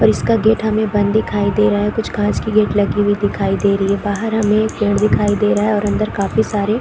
पर इसका गेट हमें बंद दिखाई दे रहा है कुछ कांच की गेट दिखाई दे रही है बाहर हमें एक पेड़ दिखाई दे रहा है और अन्दर काफी सारे--